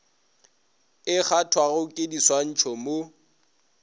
e kgathwago ke diswantšho mo